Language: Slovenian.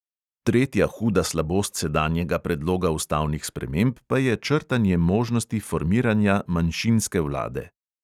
Tretja huda slabost sedanjega predloga ustavnih sprememb pa je črtanje možnosti formiranja manjšinske vlade.